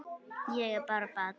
Ég er bara barn.